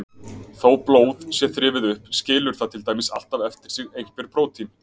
Þó blóð sé þrifið upp skilur það til dæmis alltaf eftir sig einhver prótín.